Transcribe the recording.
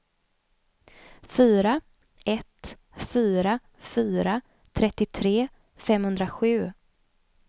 fyra ett fyra fyra trettiotre femhundrasju